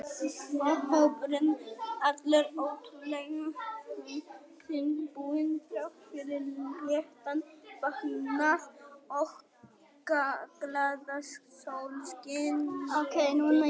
Og hópurinn allur ótrúlega þungbúinn þrátt fyrir léttan fatnað og glaðasólskin úti.